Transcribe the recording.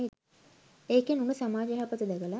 ඒකෙන් උන සමාජ යහපත දැකල